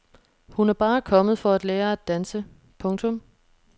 Hun er bare kommet for at lære at danse. punktum